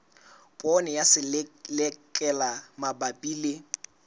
poone ya selelekela mabapi le